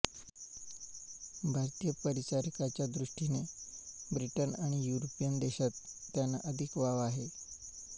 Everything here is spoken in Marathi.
भारतीय परिचारिकांच्या दृष्टीने ब्रिटन आणि युरोपियन देशांत त्यांना अधिक वाव आहे